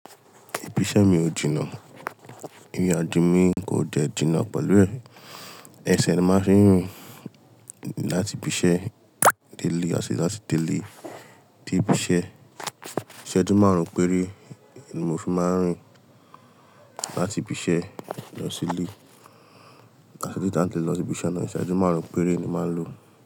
Ìbí iṣẹ́ mi ò jinná, ìrìnàjò mi kò dẹ́ jinná pẹ̀lú ẹ̀. Ẹsẹ̀ ni màá fi ń rìn láti ibi iṣẹ́ dé ilé àti láti dé ilé dé ibi iṣẹ́. Iseju márùn-ún péré ni mo fi máa ń rìn láti ibi iṣẹ́ lọ sí ilé àti tí láti lọ sí ibi iṣẹ́ náà iseju márùn-ún péré ni màá ń lo.